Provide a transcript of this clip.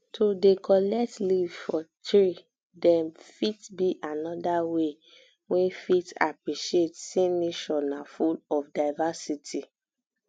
to dey um collect leave for tree dem fit be another um way wey fit appreciate sey nature na full of diversity